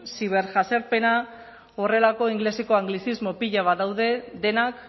ziber jazarpena horrelako ingeleseko anglizismo pila bat daude denak